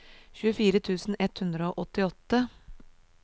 tjuefire tusen ett hundre og åttiåtte